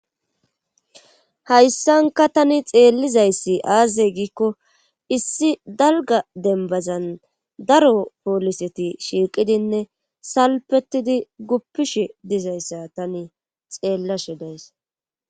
hayssanka tani xeellizayssi aaze giikko issi dalga dembazan daro pooliseti shiiqidinne salpetidi guppishe dizayssa tani xeellashe de'aysi